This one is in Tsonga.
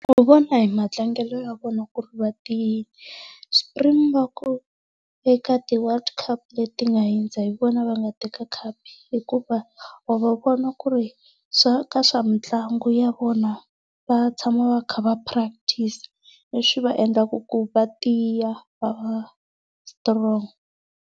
U vona hi matlangelo ya vona ku ri vatiyile. Springbok eka ti world cup leti nga hundza hi vona va nga teka cup hikuva wa va vona ku ri swa ka swa mitlangu ya vona vatshama va kha va practice leswi va endlaka ku va tiya va va strong.